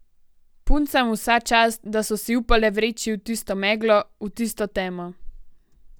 Puncam vsa čast, da so si upale vreči v tisto meglo, v tisto temo.